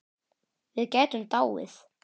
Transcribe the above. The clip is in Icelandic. Við gætum dáið.